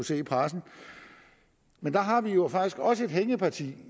se i pressen men der har vi jo faktisk også et hængeparti